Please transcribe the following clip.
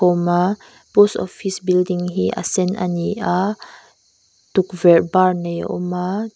awm a post office building hi a sen ani a tukverh bar nei a awm a.